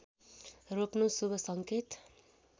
रोप्नु शुभ सङ्केत